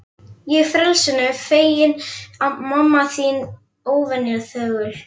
Ég frelsinu feginn, mamma þín óvenju þögul.